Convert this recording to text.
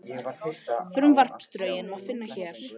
Frumvarpsdrögin má finna hér